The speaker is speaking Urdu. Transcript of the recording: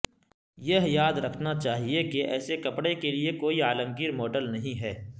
یہ یاد رکھنا چاہیے کہ ایسے کپڑے کے لئے کوئی عالمگیر ماڈل نہیں ہے